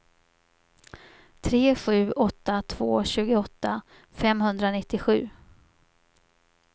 tre sju åtta två tjugoåtta femhundranittiosju